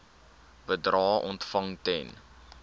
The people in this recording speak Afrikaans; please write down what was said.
bedrae ontvang ten